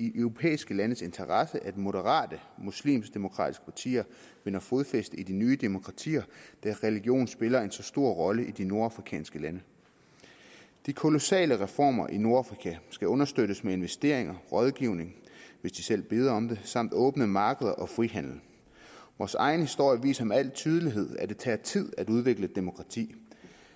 europæiske landes interesse at moderate muslimsk demokratiske partier vinder fodfæste i de nye demokratier da religion spiller en så stor rolle i de nordafrikanske lande de kolossale reformer i nordafrika skal understøttes med investeringer rådgivning hvis de selv beder om det samt åbne markeder og frihandel vores egen historie viser med al tydelighed at det tager tid at udvikle demokrati